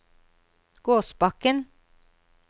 Gåsbakken